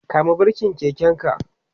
kama birken keken ka!